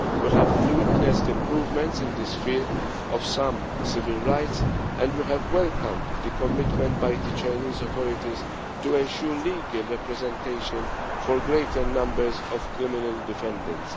We have witnessed improvements in the sphere of some civil rights and we have welcomed the commitment by the Chinese authorities to ensure legal representation for greater numbers of criminal defendants.